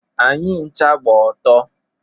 Anyị ncha gbacha ọtọ.